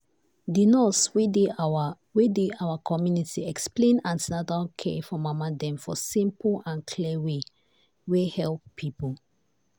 the nurse wey dey our wey dey our community explain an ten atal care for mama dem for simple and clear way wey help people.